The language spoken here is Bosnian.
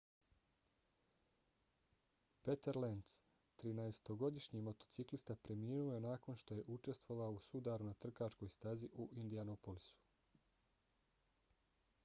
peter lenz 13-godišnji motociklista preminuo je nakon što je učestvovao u sudaru na trkačkoj stazi u indianapolisu